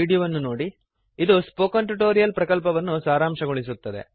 httpspoken tutorialorgWhat is a Spoken Tutorial ಅದು spoken tutorial ಪ್ರಕಲ್ಪವನ್ನು ಸಾರಾಂಶಗೊಳಿಸುತ್ತದೆ